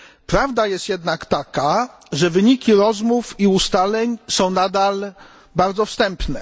Prawda jest jednak taka, że wyniki rozmów i ustaleń są nadal bardzo wstępne.